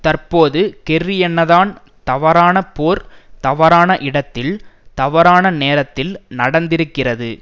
தற்போது கெர்ரி என்னதான் தவறான போர் தவறான இடத்தில் தவறான நேரத்தில் நடந்திருக்கிறது